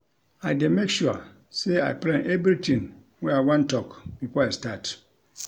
I dey make sure sey I plan everytin wey I wan tok before I start.